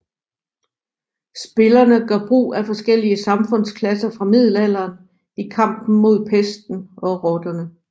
Spillerne gør brug af forskellige samfundsklasser fra middelalderen i kampen mod pesten og rotterne